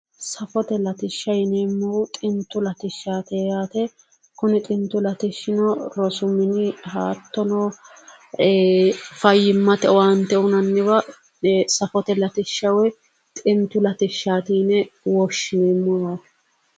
Safote latishshaati yineemmohu xintu latishshaati yaate. Kuni xintu latishshi rosu mine hattono fayyimmate owaante uyinanniwa safote latishsha woy xintu latishshaati yine woshshineemmoho.